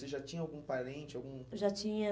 Você já tinha algum parente? Algum... Já tinha